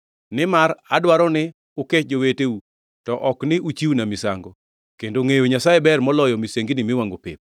Nimar adwaro ni ukech joweteu, to ok ni uchiwna misango, kendo ngʼeyo Nyasaye ber moloyo misengini miwangʼo pep.